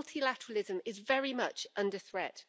So multilateralism is very much under threat.